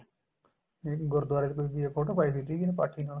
ਨਹੀਂ ਨਹੀਂ ਗੁਰਦੁਆਰੇ ਚ ਤੁਸੀਂ ਫੋਟੋ ਪਾਈ ਹੋਈ ਸੀਗੀ ਪਾਠੀ ਨਾਲ